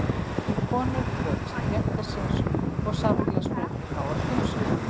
Konur kröfðust réttar síns og samfélagsbreytinga á öllum sviðum.